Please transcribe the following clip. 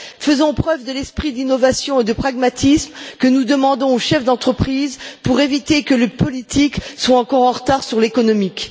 Faisons preuve de l'esprit d'innovation et de pragmatisme que nous demandons aux chefs d'entreprise pour éviter que le politique soit encore en retard sur l'économique.